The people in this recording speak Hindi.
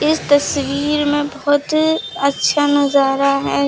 इस तस्वीर में बहुत अच्छा नजारा है।